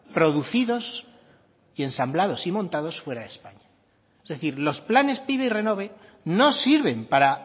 producidos y ensamblados y montados fuera de españa es decir los planes pive y renove no sirven para